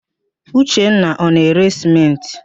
Uchenna ọ na-ere sịmentị?